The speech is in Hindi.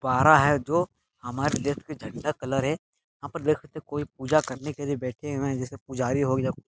पहरा है जो हमारे देश के झंडा कलर है वहाँ पर देखो तो कोई पूजा करने के लिए बैठे हुए हैं जैसे पुजारी हो गया --